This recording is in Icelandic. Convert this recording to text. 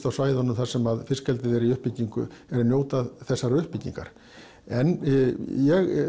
á svæðunum þar sem fiskeldið er í uppbyggingu eru að njóta þessarar uppbyggingar en ég